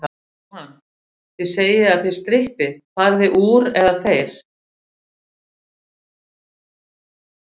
Jóhann: Þið segið að þið strippið, farið þið úr, eða þeir?